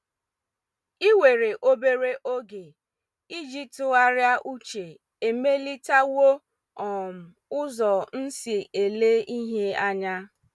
Ịwere obere oge iji tụgharịa uche emelitawo um ụzo m si ele ihe anya.